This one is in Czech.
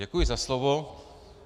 Děkuji za slovo.